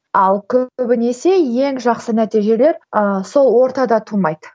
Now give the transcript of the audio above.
ал көбінесе ең жақсы нәтижелер ыыы сол ортада тумайды